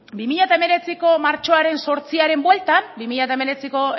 bi mila hemeretziko martxoaren zortziaren bueltan bi mila hemeretziko